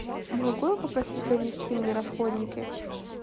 могу я попросить принести мне расходники